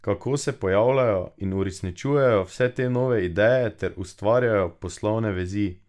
Kako se pojavljajo in uresničujejo vse te nove ideje ter ustvarjajo poslovne vezi?